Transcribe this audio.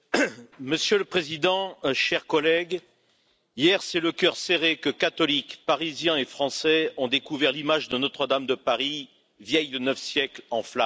Monsieur le Président, chers collègues, hier, c'est le cœur serré que catholiques, Parisiens et Français ont découvert l'image de Notre Dame de Paris, vieille de neuf siècles, en flammes.